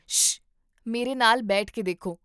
ਸ਼ਅ! ਮੇਰੇ ਨਾਲ ਬੈਠ ਕੇ ਦੇਖੋ